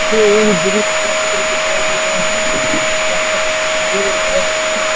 ये एक ब्रिज का पिक दिखाई दे रहे है यहां पर --